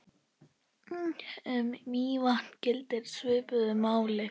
Um Mývatn gildir svipuðu máli.